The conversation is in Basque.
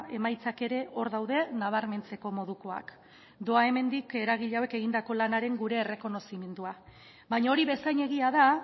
emaitzak ere hor daude nabarmentzeko modukoak doa hemendik eragile hauek egindako lanaren gure errekonozimendua baina hori bezain egia da